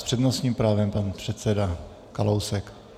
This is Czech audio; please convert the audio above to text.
S přednostním právem pan předseda Kalousek.